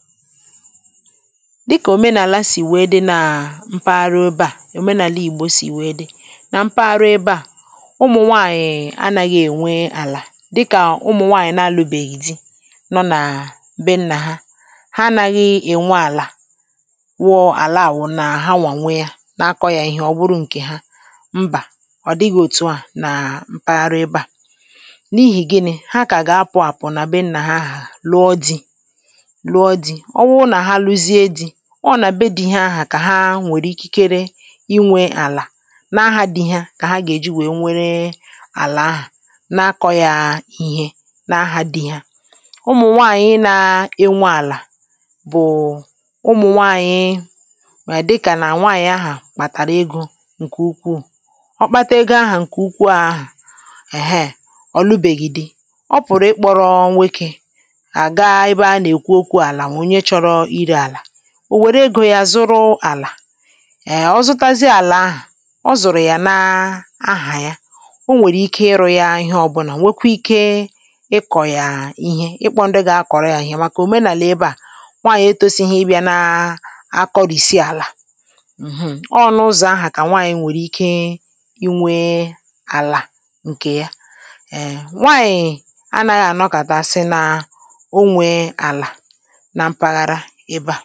dịkà òmenàla sì wee dị na mpaghara ụba à òmenàla ìgbò sì wee dị na mpaghara ebe à ụmụ̀nwaànyị̀ anàghị̇ ènwe àlà dịkà ụmụ̀nwaànyị̀ na-alụbèghì zi nọ̇ na mbe nnà ha ha anaghị ènwe àlà wụọ àla àwụ nà ha nwànwe yȧ na-akọ̇ yȧ ihe ọ bụrụ ǹkè ha mbà ọ̀ dịghị̇ òtu à nà mpaghara ebe à n’ihì gịnị̇ ha kà ga-apụ̀ àpụ̀ nà be nnà ha hà lụọ dị̇ ọ nà be dị̇ ihe ahụ̀ kà ha nwèrè ikikere inwė àlà n’agha à di̇ ihe kà ha gà-èji wèe nwere àlà ahà n’akọ̇ yȧ ihe n’agha di̇ ihe ụmụ̀ nwaànyị̀ nȧ-ėnwe àlà bụ̀ụ̀ nwaànyị̀ mà dịkà nà nwaànyị̀ ahụ̀ kpàtàrà egȯ ǹkè ukwuù ọ̀ kpata ego ahụ̀ ǹkè ukwu àhụ èheè ọ̀ lụbèghi̇di̇ ọ pụ̀rụ̀ ikpọ̇rọ̇ nwokė ò wère gù ya zụrụ àlà ee ọ zụtazie àlà ahụ̀ ọ zụ̀rụ̀ yà na ahà ya o nwèrè ike ị rụ̇ ya ihe ọ̀bụlà nwekwe ike ị kọ̀yàà ihe ịkpọ ndị ga kọ̀rọ ya ihe màkà òmenàlà ebe à nwaànyị̀ etȯsighi ị bịa na akọrìsi àlà ǹhụ̀ ọ ọ n’ụzọ̀ ahụ̀ kà nwaànyị nwèrè ike inwė àlà ǹkè ya nwaànyị̀ anaghị ànọkàtasi na ǹkè ị gà-àkárá ị̀bȧ